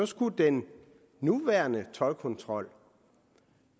skulle den nuværende toldkontrol